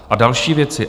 A další věci.